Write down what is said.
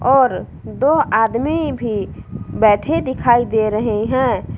और दो आदमी भी बैठे दिखाई दे रहे हैं।